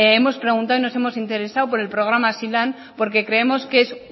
hemos preguntado y nos hemos interesado por el programa hazilan porque creemos que es